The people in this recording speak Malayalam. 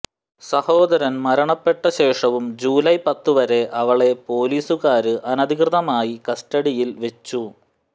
സഹോദരന് മരണപ്പെട്ട ശേഷവും ജൂലൈ പത്ത് വരെ അവളെ പൊലീസുകാര് അനധികൃതമായി കസ്റ്റഡിയില് വെച്ചു